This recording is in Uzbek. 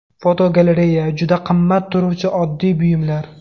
Fotogalereya: Juda qimmat turuvchi oddiy buyumlar.